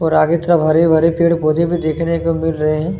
और आगे तरफ हरे-भरे पेड़-पोधे भी देखने को मिल रहे है। ।